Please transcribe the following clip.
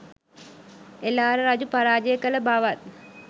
එළාර රජු පරාජය කළ බවත්